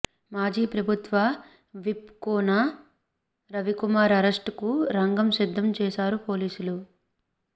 మాజీ ప్రభుత్వ whip Koona Ravikumar arrest కు రంగం సిద్దం చేశారు పోలీసులు